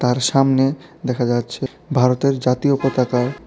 আর সমনে দেখা যাচ্ছে ভারতের জাতীয় পতাকা।